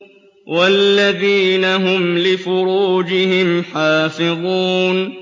وَالَّذِينَ هُمْ لِفُرُوجِهِمْ حَافِظُونَ